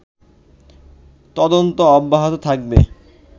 তদন্ত অব্যাহত থাকবে